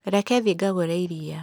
Reke thiĩ ngagũre iria.